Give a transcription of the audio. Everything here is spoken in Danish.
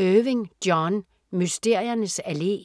Irving, John: Mysteriernes Allé